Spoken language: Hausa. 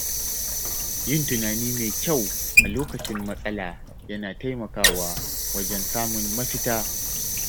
Yin tunani mai kyau a lokacin matsala yana taimakawa wajen samun mafita.